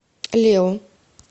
лео